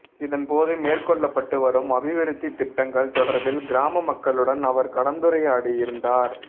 இதன்போது மேற்கொள்ளப்பட்டு வரும் அபிவிருத்தி திட்டங்கள் தொடர்பில் கிராம மக்களுடன் அவர் கலந்துரையாடியிருந்தார்